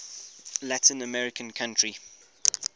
latin american country